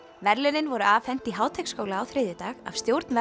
verðlaunin voru afhent í Háteigsskóla á þriðjudag af stjórn